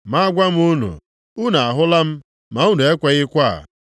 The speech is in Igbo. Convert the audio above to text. Ma agwa m unu, unu ahụla m ma unu ekweghịkwa.